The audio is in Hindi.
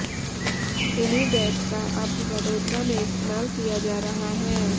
इन्हीं बेड्स का अब वडोदरा में इस्तेमाल किया जा रहा है